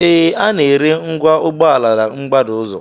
Ee, a na-ere ngwa ụgbọala na mgbada ụzọ